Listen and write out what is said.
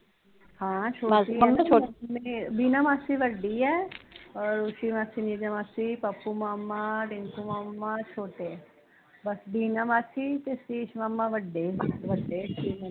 ਹਾਂ ਛੋਟੀ ਐ ਬੀਨਾ ਮਾਸੀ ਵੱਡੀ ਐ ਰੋਸ਼ੀ ਮਾਸੀ ਨਿਸ਼ਾ ਮਾਸੀ ਪੱਪੂ ਮਾਮਾ ਰਿਂਕੁ ਮਾਮਾ ਛੋਟੇ ਐ ਬਸ ਬੀਨਾ ਮਾਸੀ ਤੇ ਸਤੀਸ਼ ਮਾਮਾ ਵੱਡੇ ਸੀ